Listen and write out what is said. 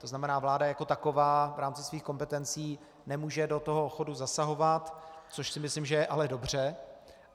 To znamená vláda jako taková v rámci svých kompetencí nemůže do toho chodu zasahovat, což si myslím, že je ale dobře.